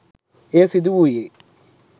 එය සිදුවුයේ